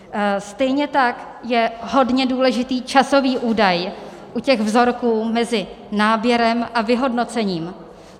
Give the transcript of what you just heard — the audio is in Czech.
Stejně tak je hodně důležitý časový údaj u těch vzorků mezi náběrem a vyhodnocením.